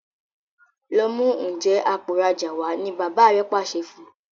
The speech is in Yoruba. lọ mú Njé Àpò ìrajà wá! ní bàbá rẹ pàṣẹ fún.